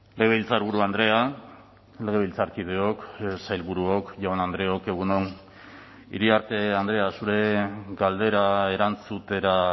legebiltzarburu andrea legebiltzarkideok sailburuok jaun andreok egun on iriarte andrea zure galdera erantzutera